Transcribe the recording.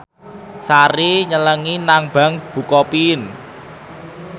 Sari nyelengi nang bank bukopin